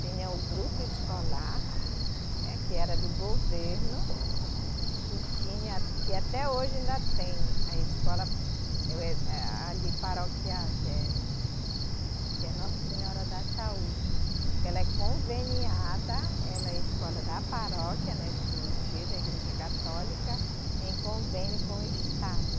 Tinha o grupo escolar, né, que era do governo, e tinha, que até hoje ainda tem, a escola eh, ali paroquial, que é que é Nossa Senhora da Saúde, que ela é conveniada, ela é a escola da paróquia, né de Juruti, da Igreja Católica, em convênio com o Estado.